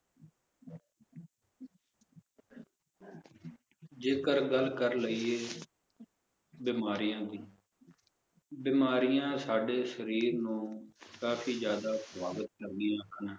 ਜੇਕਰ ਗੱਲ ਕਰ ਲਇਏ ਬਿਮਾਰੀਆਂ ਦੀ ਬਿਮਾਰੀਆਂ ਸਾਡੇ ਸ਼ਰੀਰ ਨੂੰ ਕਾਫੀ ਜ਼ਿਆਦਾ ਪ੍ਰਭਾਵਤ ਕਰਦੀਆਂ ਹਨ